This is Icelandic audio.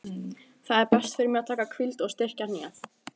Það er best fyrir mig að taka hvíld og styrkja hnéð.